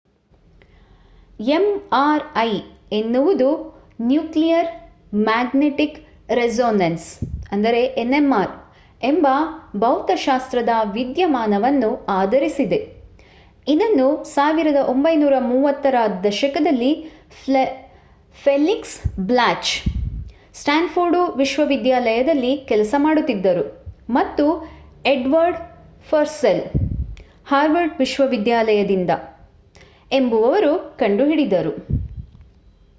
mri ಎನ್ನುವುದು nuclear magnetic resonance nmr ಎಂಬ ಭೌತಶಾಸ್ತ್ರದ ವಿದ್ಯಮಾನವನ್ನು ಆಧರಿಸಿದೆ ಇದನ್ನು 1930 ರ ದಶಕದಲ್ಲಿ ಫೆಲಿಕ್ಸ್ ಬ್ಲಾಚ್ ಸ್ಟ್ಯಾನ್ಫೋರ್ಡ್ ವಿಶ್ವವಿದ್ಯಾಲಯದಲ್ಲಿ ಕೆಲಸ ಮಾಡುತ್ತಿದ್ದರು ಮತ್ತು ಎಡ್ವರ್ಡ್ ಪರ್ಸೆಲ್ ಹಾರ್ವರ್ಡ್ ವಿಶ್ವವಿದ್ಯಾಲಯದಿಂದ ಎಂಬುವವರು ಕಂಡುಹಿಡಿದರು